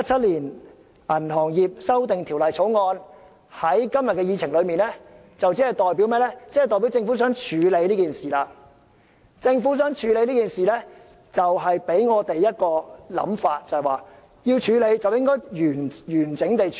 當政府把《條例草案》提上今天的議程，便代表政府希望處理這事項，這便引發我們一種想法，就是要處理的話，便要完整地處理。